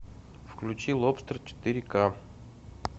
включи лобстер четыре ка